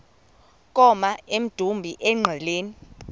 koma emdumbi engqeleni